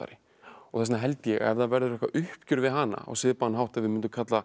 þess vegna held ég að ef það verður eitthvað uppgjör við hana á svipaðan hátt og við myndum kalla